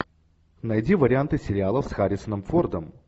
найди варианты сериалов с харрисоном фордом